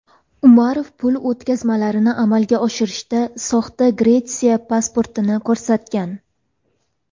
Umarov pul o‘tkazmalarini amalga oshirishda soxta Gretsiya pasportini ko‘rsatgan.